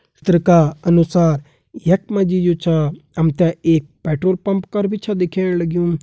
चित्र का अनुसार यख मा जी जु छा हम ते एक पेट्रोल पंप कर भी छा दिखेण लग्युं।